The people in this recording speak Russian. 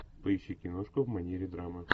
поищи киношку в манере драма